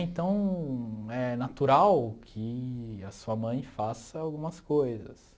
Então, é natural que a sua mãe faça algumas coisas.